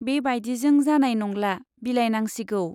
बे बाइदिजों जानाय नंला, बिलाइनांसिगौ।